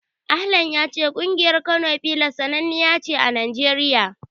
Ahlan ya ce ƙungiyar Kano Pillars sananniya ce a Najeriya.